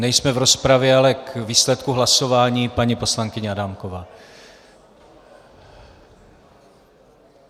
Nejsme v rozpravě, ale k výsledku hlasování paní poslankyně Adámková.